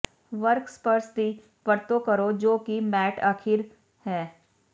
work ਸਪਰਸ ਦੀ ਵਰਤੋਂ ਕਰੋ ਜੋ ਕਿ ਮੈਟ ਅਖ਼ੀਰ ਹੈ